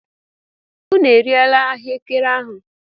Unu erila ahuekere ahu!